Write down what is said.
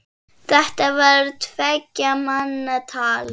Þetta var tveggja manna tal.